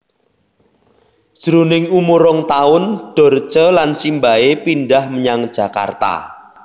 Jroning umur rong taun Dorce lan simbahé pindhah menyang Jakarta